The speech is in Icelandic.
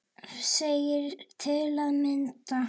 segir til að mynda